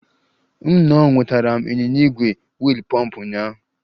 M nnọọ nwetara m ịnyịnya ígwè wiil pumped ụnyaahụ